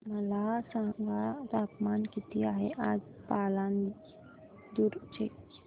मला सांगा तापमान किती आहे आज पालांदूर चे